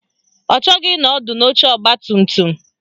Ọ chọghị ịnọ ọdụ n'oche ọgbatumtum